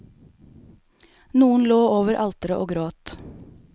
Noen lå over alteret og gråt.